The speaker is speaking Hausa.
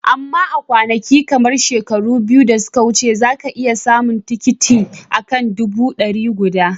Amma a kwanakin, kamar shekaru biyu da suka wuce, za ka iya samun tikitin, a kan dubu dari gudu.